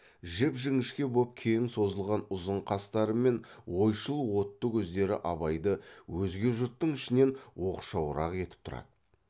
жіп жіңішке боп кең созылған ұзын қастары мен ойшыл отты көздері абайды өзге жұрттың ішінен оқшауырақ етіп тұрады